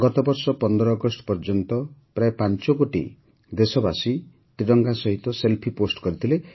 ଗତବର୍ଷ ୧୫ ଅଗଷ୍ଟ ପର୍ଯ୍ୟନ୍ତ ପ୍ରାୟ ୫ କୋଟି ଦେଶବାସୀ ତ୍ରିରଙ୍ଗା ସହିତ ସେଲ୍ଫି ପୋଷ୍ଟ୍ କରିଥିଲେ